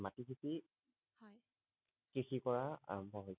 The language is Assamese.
কৃষি হয় কৃষি পৰা আৰাম্ভ হৈছিল